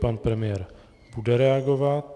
Pan premiér bude reagovat.